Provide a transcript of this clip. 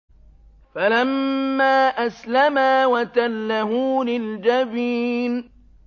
فَلَمَّا أَسْلَمَا وَتَلَّهُ لِلْجَبِينِ